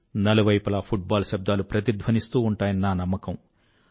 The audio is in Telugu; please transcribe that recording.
నలువైపులా ఫుట్ బాల్ శబ్దాలు ప్రతిధ్వనిస్తూ ఉంటాయని నా నమ్మకం